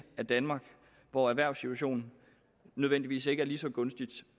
af danmark hvor erhvervssituationen nødvendigvis ikke er lige så gunstig